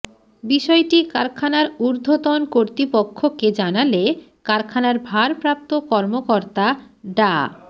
বিষয়টি কারখানার ঊর্ধ্বতন কর্তৃপক্ষকে জানালে কারখানার ভারপ্রাপ্ত কর্মকর্তা ডা